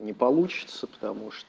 не получится потому